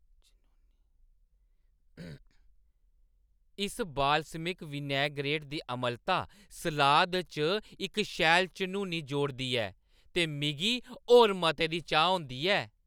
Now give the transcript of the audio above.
इस balsamic vinaigrette दी अम्लता सलाद च इक शैल झनूनी जोड़दी ऐ ते मिगी होर मते दी चाह् होंदी ऐ ।